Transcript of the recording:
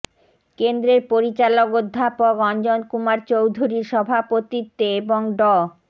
কেন্দ্রের পরিচালক অধ্যাপক অঞ্জন কুমার চৌধুরীর সভাপতিত্বে এবং ড